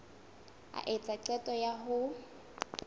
a etsa qeto ya ho